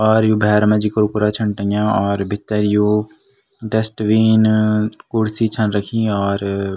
और यु भैर मा जी कुरकुरा छन टंग्या और भीतर यु डस्टबिन कुर्सी छन रखीं और --